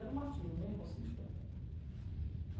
Era um martírio, eu não ia conseguir chegar até lá.